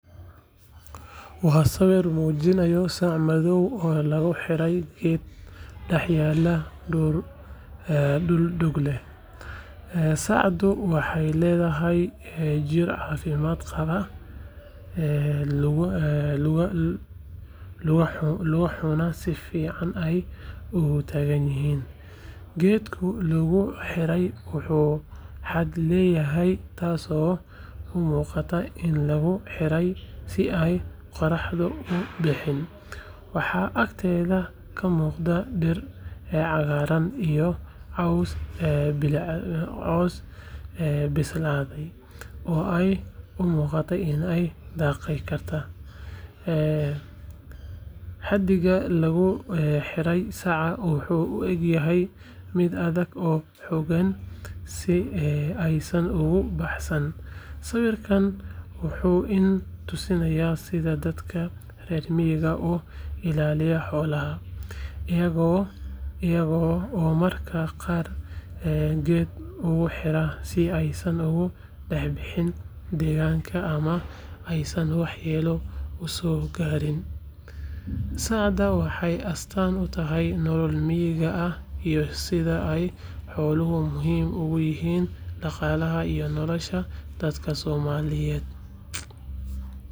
Waa sawir muujinaya sac madow oo lagu xidhay geed dhex yaalla dhul doog leh. Sacdu waxay leedahay jidh caafimaad qaba, lugahuna si fiican ayay u taagan yihiin. Geedkii loogu xidhayna wuu hadh leeyahay, taasoo u muuqata in lagu xidhay si ay qorraxdu u dhibin. Waxaa agteeda ka muuqda dhir cagaaran iyo caws bislaaday oo ay u muuqato in ay daaqaysay. Xadhigga lagu xidhay saca wuxuu u eg yahay mid adag oo xooggan, si aysan uga baxsan. Sawirkan wuxuu ina tusayaa sida dadka reer miyigu u ilaaliyaan xoolahooda, iyaga oo mararka qaar geed ugu xidha si aysan uga dhex bixin deegaanka ama aysan waxyeelo uga soo gaarin. Sacdan waxay astaan u tahay nolol miyiga ah iyo sida ay xooluhu muhiim ugu yihiin dhaqaalaha iyo nolosha dadka Soomaaliyeed.